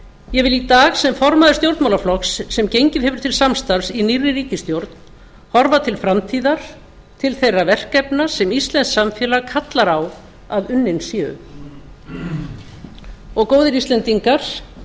ég vil í dag sem formaður stjórnmálaflokks sem gengið hefur til samstarfs í nýrri ríkisstjórn horfa til framtíðar til þeirra verkefna sem íslenskt samfélag kallar á að unnin séu góðir íslendingar